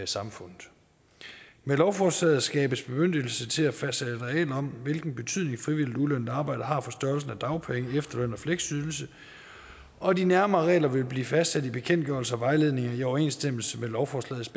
samfundet med lovforslaget skabes bemyndigelse til at fastsætte regler om hvilken betydning frivilligt ulønnet arbejde har for størrelsen af dagpenge efterløn og fleksydelse og de nærmere regler vil blive fastsat i bekendtgørelser og vejledninger i overensstemmelse med lovforslagets